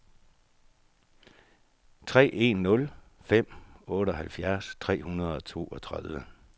tre en nul fem otteoghalvfems tre hundrede og toogtredive